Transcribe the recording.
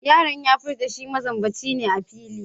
Yaron ya furta she mazambaci ne a fili.